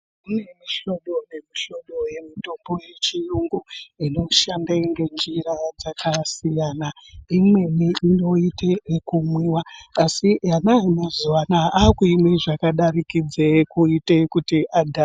Mune mihlobo nemihlobo yemitombo yechiyungu inoshanda ngenjira dzakasiyana imweni inoite kumwiwa asi ana emazuwa anaya akuimwe zvakadarikidza kuite kuti adhakwe.